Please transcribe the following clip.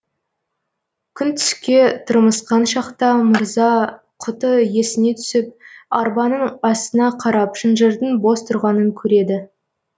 күн түске тырмысқан шақта мырза құты есіне түсіп арбаның астына қарап шынжырдың бос тұрғанын көреді